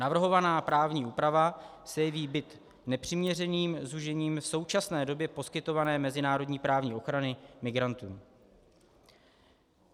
Navrhovaná právní úprava se jeví být nepřiměřeným zúžením v současné době poskytované mezinárodní právní ochrany migrantů."